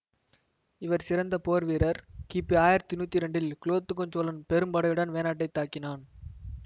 இவர் சிறந்த போர் வீரர் கிபி ஆயிரத்தி நூற்றி இரண்டில் குலோத்துங்க சோழன் பெரும்படையுடன் வேணாட்டை தாக்கினான்